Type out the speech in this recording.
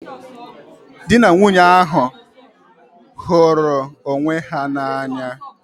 Dị na nwunye ahụ hụrụ onwe ha n'anya.